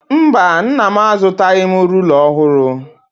Mba, Nna m azụtaghị m rula ọhụrụ.